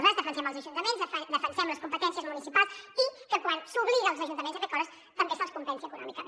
nosaltres defensem els ajuntaments defensem les competències municipals i que quan s’obliga els ajuntaments a fer coses també se’ls compensi econòmicament